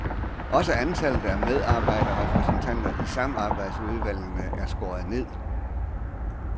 Også antallet af medarbejderrepræsentanter i samarbejdsudvalgene er skåret ned.